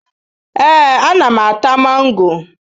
Ee, ana m ata mango.